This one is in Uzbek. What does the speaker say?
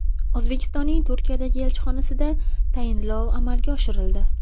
O‘zbekistonning Turkiyadagi elchixonasida tayinlov amalga oshirildi.